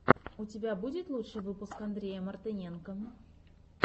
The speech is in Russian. у тебя будет лучший выпуск андрея мартыненко